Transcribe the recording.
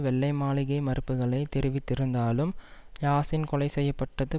வெள்ளை மாளிகை மறுப்புகளை தெரிவித்திருந்தாலும் யாசின் கொலை செய்ய பட்டது